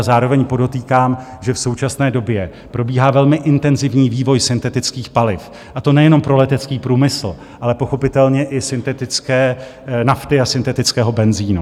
A zároveň podotýkám, že v současné době probíhá velmi intenzivní vývoj syntetických paliv, a to nejenom pro letecký průmysl, ale pochopitelně i syntetické nafty a syntetického benzinu.